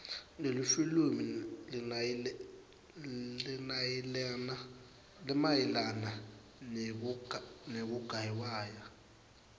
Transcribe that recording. lelifilimu linayelana nekuiwaya